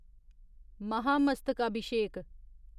महामस्तकाभिषेक